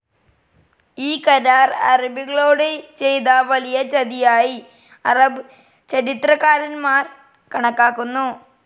ഈ കരാർ അറബികളോട് ചെയ്ത വലിയ ചതിയായി അറബ് ചരിത്രകാരന്മാർ കണക്കാക്കുന്നു.